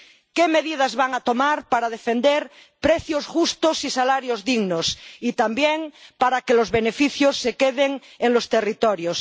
¿Qué medidas va a tomar para defender precios justos y salarios dignos y también para que los beneficios se queden en los territorios?